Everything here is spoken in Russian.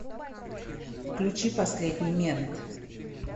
включи последний мент